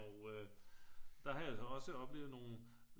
Og øh der har jeg så også oplevet nogle øh